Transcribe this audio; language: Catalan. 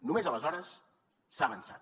només aleshores s’ha avançat